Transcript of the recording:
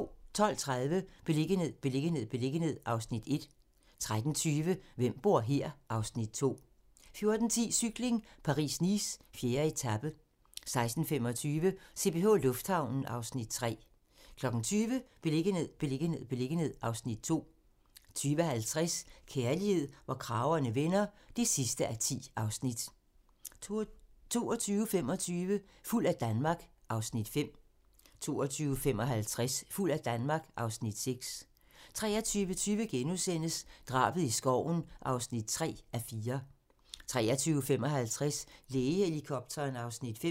12:30: Beliggenhed, beliggenhed, beliggenhed (Afs. 1) 13:20: Hvem bor her? (Afs. 2) 14:10: Cykling: Paris-Nice - 4. etape 16:25: CPH Lufthavnen (Afs. 3) 20:00: Beliggenhed, beliggenhed, beliggenhed (Afs. 2) 20:50: Kærlighed, hvor kragerne vender (10:10) 22:25: Fuld af Danmark (Afs. 5) 22:55: Fuld af Danmark (Afs. 6) 23:20: Drabet i skoven (3:4)* 23:55: Lægehelikopteren (Afs. 5)